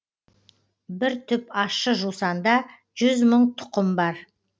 бір түп ащы жусанда жүз мың тұқым бар